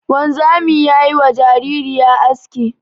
Wanzami ya yi wa jaririya aski.